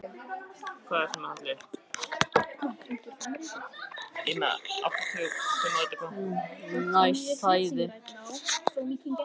Það er tregaþrungin kveðjustund við lónið.